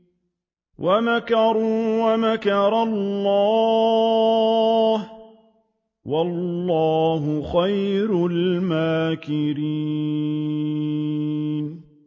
وَمَكَرُوا وَمَكَرَ اللَّهُ ۖ وَاللَّهُ خَيْرُ الْمَاكِرِينَ